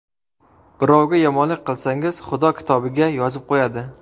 Birovga yomonlik qilsangiz, Xudo kitobiga yozib qo‘yadi.